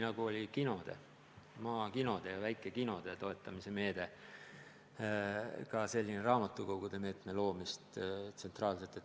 On ju olnud maakinode ja muude väikekinode toetamise meede ja ehk võiks tsentraalselt luua ka raamatukogude meetme.